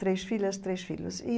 Três filhas, três filhos e.